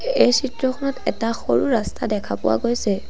এই চিত্ৰখনত এটা সৰু ৰাস্তা দেখা পোৱা গৈছে।